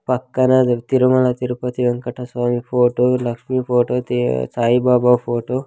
పక్కన Tirumala Tirupati Venkata Swamy photo Lakshmi photo తే-- Sai Baba photo .